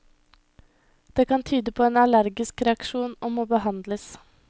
Det kan tyde på en allergisk reaksjon og må behandles.